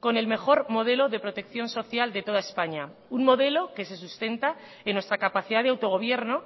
con el mejor modelo de protección social de toda españa un modelo que se sustenta en nuestra capacidad de autogobierno